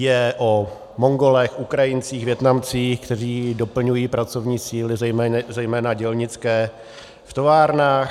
Je o Mongolech, Ukrajincích, Vietnamcích, kteří doplňují pracovní síly zejména dělnické v továrnách.